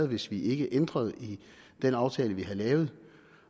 hvis vi ikke ændrede i den aftale vi havde lavet